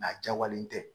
a jawale tɛ